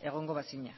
egongo bazina